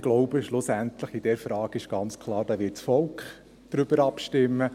Ich glaube, schlussendlich wird aber in dieser Frage ganz klar das Volk abstimmen.